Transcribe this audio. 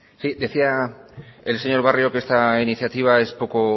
sí decía el señor barrio que esta iniciativa es poco